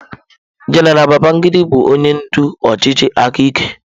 General Babangida bụ onye ndu ọchịchị aka ike.